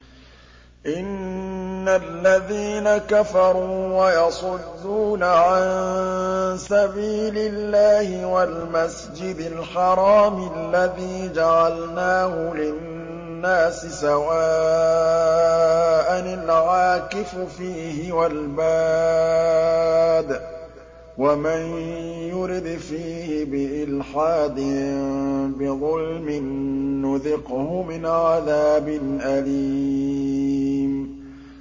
إِنَّ الَّذِينَ كَفَرُوا وَيَصُدُّونَ عَن سَبِيلِ اللَّهِ وَالْمَسْجِدِ الْحَرَامِ الَّذِي جَعَلْنَاهُ لِلنَّاسِ سَوَاءً الْعَاكِفُ فِيهِ وَالْبَادِ ۚ وَمَن يُرِدْ فِيهِ بِإِلْحَادٍ بِظُلْمٍ نُّذِقْهُ مِنْ عَذَابٍ أَلِيمٍ